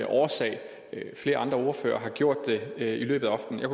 årsag flere andre ordførere har gjort det i løbet af aftenen jeg